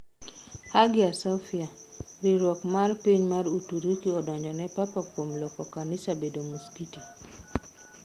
Hagia Sophia: Riwruok mar piny mar Uturuki odonjo ne Papa kuom loko kanisa bedo muskiti